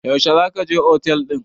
Yaushe za ka je otel ɗin?